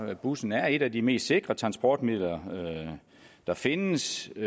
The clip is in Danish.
at bussen er et af de mest sikre transportmidler der findes og